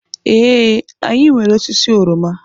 Ee, anyị nwere osisi oroma.